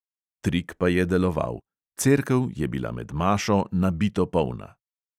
Trik pa je deloval: cerkev je bila med mašo nabito polna.